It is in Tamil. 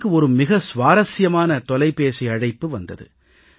எனக்கு ஒரு மிக சுவாரசியமான தொலைபேசி அழைப்பு வந்தது